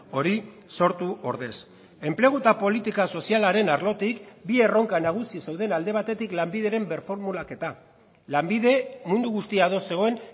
hori sortu ordez enplegu eta politika sozialaren arlotik bi erronka nagusi zeuden alde batetik lanbideren birformulaketa lanbide mundu guztia ados zegoen